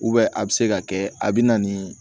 a bɛ se ka kɛ a bɛ na ni